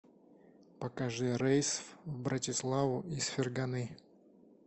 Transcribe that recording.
покажи рейс в братиславу из ферганы